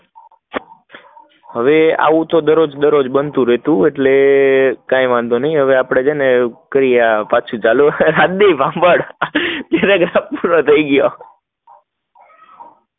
હવે તો આવું દરોજ દરરોજ બનતું રહેતું એટલે કઈ વાંધો નાઈ, હવે આપડે છે ને કઈ ચાલુ, રાજદીપ સંભાળ પૂરું થઇ ગયું